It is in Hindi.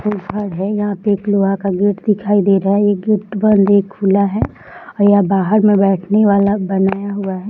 एक घर है यहां पे एक लोहे का गेट दिखाई दे रहा है एक गेट बंद है एक खुला है और यहां बाहर में बैठने वाला बनाया हुआ है।